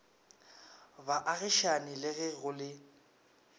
baagišane le ge go le